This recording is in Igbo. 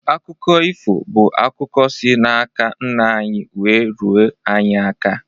Akụkọ ifo bụ akụkọ si n'aka nna anyị wee ruo anyị aka.